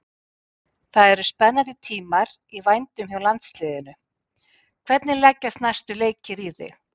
Það eru spennandi tímar í vændum hjá landsliðinu, hvernig leggjast næstu leikir í þig?